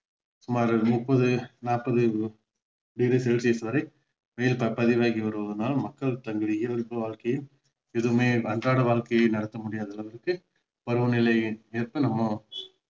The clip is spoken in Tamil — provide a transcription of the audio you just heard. சுமார் முப்பது நாப்பது degree celcius வரை வெயில் ப~ பதிவாகி வருவதனால் மக்கள் தங்கள் இயல்பு வாழ்கையில் மிகவுமே அன்றாட வாழ்கையை நடத்த முடியாத அளவுக்கு பருவனிலை இருக்கு நம்ம